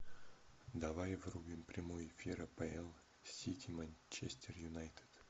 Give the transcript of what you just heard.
давай врубим прямой эфир апл сити манчестер юнайтед